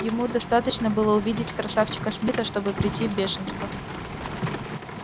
ему достаточно было увидеть красавчика смита чтобы прийти в бешенство